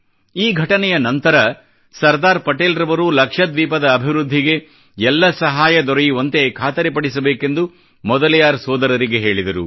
ಈ ಘಟನೆಯ ನಂತರ ಸರ್ದಾರ್ ಪಟೇಲ್ ರವರು ಲಕ್ಷದ್ವೀಪದ ಅಭಿವೃದ್ಧಿಗೆ ಎಲ್ಲ ಸಹಾಯ ದೊರೆಯುವಂತೆ ಖಾತರಿ ಪಡಿಸಬೇಕೆಂದು ಮೊದಲಿಯಾರ್ ಸೋದರರಿಗೆ ಹೇಳಿದರು